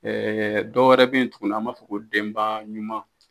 dɔ wɛrɛ bɛ yen tuguni an b'a fɔ ko denba ɲuman